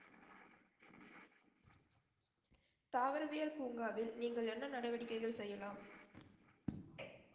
தாவரவியல் பூங்காவில் நீங்கள் என்ன நடவடிக்கைகள் செய்யலாம்